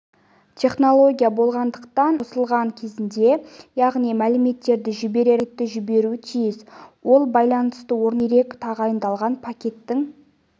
технология болғандықтан алдын ала қосылған кезінде яғни мәліметтерді жіберер алдында пакетті жіберуі тиіс ол байланысты орнату үшін керек тағайындалған пакеттің